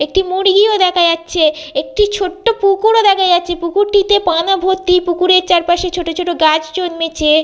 একটি মুরগিও দেখা যাচ্ছে একটি ছোট্ট পুকুর ও দেখা যাচ্ছে। পুকুরটিতে পানা ভর্তি পুকুরের চারপাশে ছোট ছোট গাছ জন্মেছে।